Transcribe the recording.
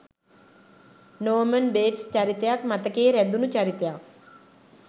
නෝමන් Bates චරිතයත් මතකයේ රැඳුනු චරිතයක්.